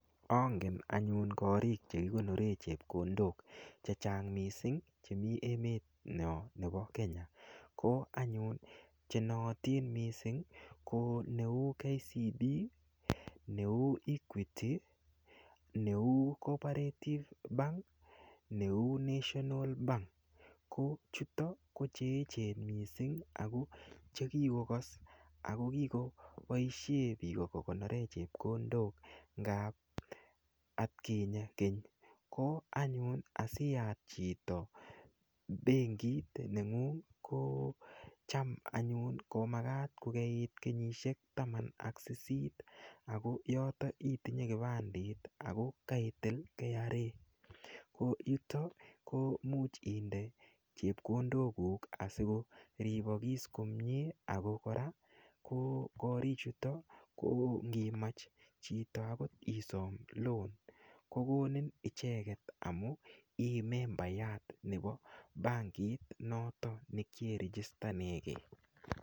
Ongen anyun korik chekikonore chepkondok chechang' mising' chemi emenyo nebo Kenya ko anyun chenootin mising' ko neu KCB neu equity neu comparative bank neu national bank ko chuto ko cheechen mising' ako chekikokos akokikoboishe biko kokonore chepkondok ngap atkinye keny ko anyun asiyat chito benkit neng'ung' ko cham anyun komakat kokeit kenyishek taman ak sisit ako yoto itinye kipandit ako kaitil kra ko yuto ko muuch inde chepkondok kuuk asikoribokis komye ako kora korichuto ko ngimach chito akot isom loan kokonin icheget amu ii membeyat nebo bankit noto nekieregistamegei